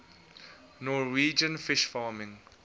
norwegian fish farming